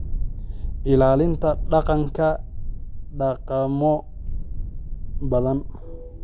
Ilaalinta Dhaqanka Dhaqamo badan.